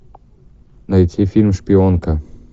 найти фильм шпионка